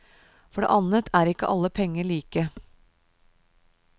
For det annet er ikke alle penger like.